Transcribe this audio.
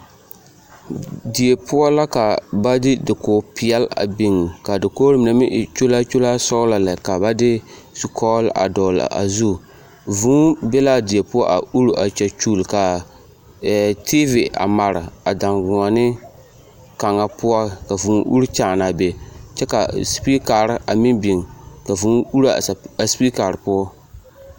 Die poɔ la ka ba de dakogi peɛle a biŋ k'a dakogiri mine meŋ e kyolaakyolaa sɔgelɔ lɛ ka ba de zukɔgere a dɔgelaa zu, vūū be l'a die poɔ a uri a kyɛkyuli ka TV a mare a daŋgoɔne kaŋa poɔ ka vūū uri kyaanaa be kyɛ ka sipikari a meŋ biŋ ka vūū uri a sipikari poɔ.